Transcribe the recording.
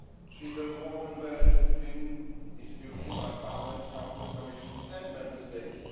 Is there more convergence between institutions like Parliament, Council, the Commission and Member States?